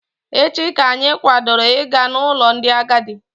Echi ka anyị kwadoro Ị ga n'ụlọ ndị agadi.